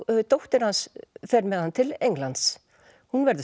dóttir hans fer með hann til Englands hún verður